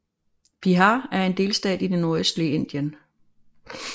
Bihar er en delstat i det nordøstlige Indien